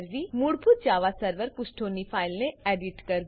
મૂળભૂત Java server Java server પુષ્ઠોની ફાઈલને એડીટ કરવું